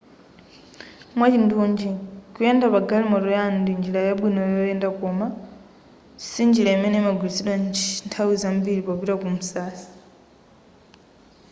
mwachindunji kuyenda pa galimoto yanu ndi njira yabwino yoyendera koma sinjira imene imagwiritsidwa nthawi zambiri popita ku msasa